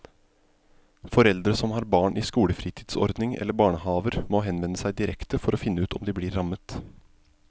Foreldre som har barn i skolefritidsordning eller barnehaver må henvende seg direkte for å finne ut om de blir rammet.